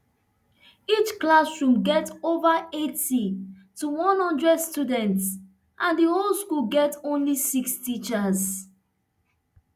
each classroom get ova eighty to one hundred students and di whole school get only six teachers